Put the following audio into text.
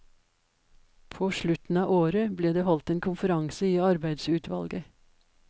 På slutten av året ble det holdt en konferanse i arbeidsutvalget.